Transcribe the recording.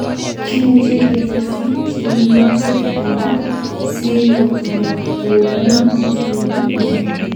Kimuche ketesyi chikilutik alak sikotok koumutyoni komie.